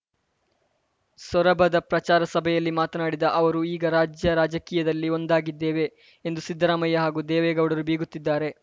ಸೊರಬದ ಪ್ರಚಾರ ಸಭೆಯಲ್ಲಿ ಮಾತನಾಡಿದ ಅವರು ಈಗ ರಾಜ್ಯ ರಾಜಕೀಯದಲ್ಲಿ ಒಂದಾಗಿದ್ದೇವೆ ಎಂದು ಸಿದ್ದರಾಮಯ್ಯ ಹಾಗೂ ದೇವೇಗೌಡರು ಬೀಗುತ್ತಿದ್ದಾರೆ